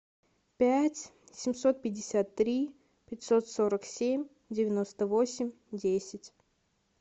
пять семьсот пятьдесят три пятьсот сорок семь девяносто восемь десять